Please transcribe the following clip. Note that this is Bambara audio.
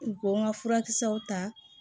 U ko n ka furakisɛw ta